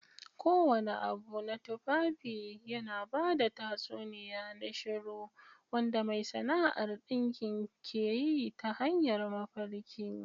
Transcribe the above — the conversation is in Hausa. Kowane abu na tufafi yana ba da tatsuniya na shiru wanda mai sana'ar dinkin ke yi ta hanyar mafarki.